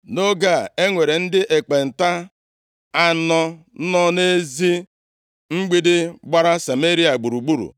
Nʼoge a, e nwere ndị ekpenta + 7:3 Onye ọbụla na-arịa ọrịa ekpenta a gaghị ebi nʼime obodo nʼetiti ụmụ mmadụ. \+xt Lev 13:45-46; Ọnụ 5:2-4; 12:10.\+xt* anọ nọ nʼezi mgbidi gbara Sameria gburugburu,